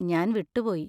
ഞാൻ വിട്ടുപോയി.